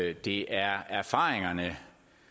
at det er erfaringerne